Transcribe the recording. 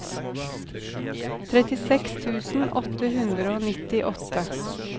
trettiseks tusen åtte hundre og nittiåtte